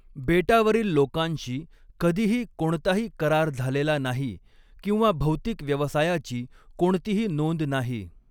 बेटावरील लोकांशी कधीही कोणताही करार झालेला नाही किंवा भौतिक व्यवसायाची कोणतीही नोंद नाही.